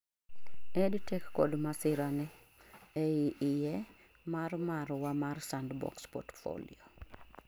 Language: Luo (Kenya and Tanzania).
EdTech kod masira ni ; ei iye mar marwa mar Sandbox Portfolio